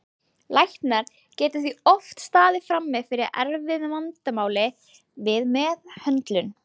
Læknar geta því oft staðið frammi fyrir erfiðu vandamáli við meðhöndlun.